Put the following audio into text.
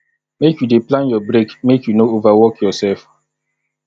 make you dey plan your break make you no over work yoursef